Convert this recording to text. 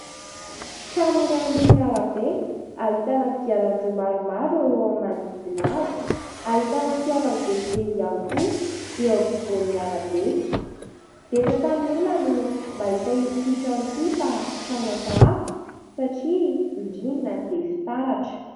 Trano iray amoron'arabe ahitana kodiarandroa maromaro manodidina azy. Ahitana fiara mivezivezy ihany koa eo afovoan'ny arabe. Betsaka amin'ny olona no mahita ity trano ity fa trano hafahafa satria ny rindriny dia fitaratra.